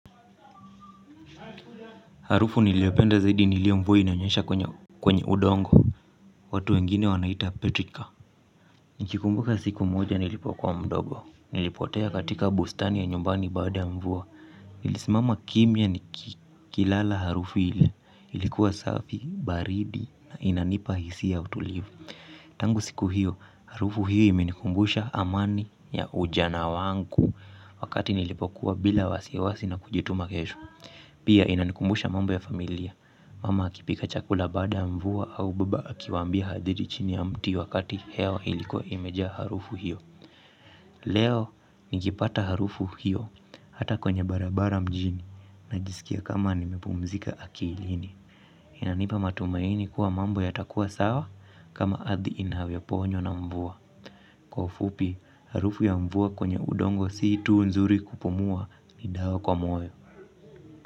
Harufu niliyopenda zaidi ni ile mvua inanyesha kwenye udongo. Watu wengine wanaita Petrika. Nikikumbuka siku moja nilipokuwa mdogo nilipotea katika bustani ya nyumbani baada ya mvua. Nilisimama kimya nikilala harufu hile. Ilikuwa safi, baridi na inanipa hisia ya utulivu. Tangu siku hiyo, harufu hiyo imenikumbusha amani ya ujana wangu. Wakati nilipokuwa bila wasiwasi na kujituma kesho pia inanikumbusha mambo ya familia. Mama akipika chakula baada ya mvua au baba akiwambia hadithi chini ya mti wakati hewa ilikuwa imejaa harufu hiyo. Leo nikipata harufu hiyo hata kwenye barabara mjini najisikia kama nimepumzika akilini. Inanipa matumaini kuwa mambo yatakuwa sawa kama ardhi inavyoponywa na mvua. Kwa ufupi, harufu ya mvua kwenye udongo si tu nzuri kupumua ni dawa kwa moyo.